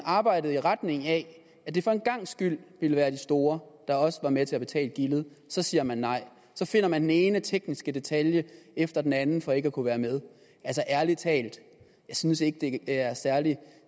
arbejdet i retning af at det for en gangs skyld ville være de store der også var med til at betale gildet så siger nej så finder man den ene tekniske detalje efter den anden for ikke at kunne være med altså ærlig talt jeg synes ikke det er særlig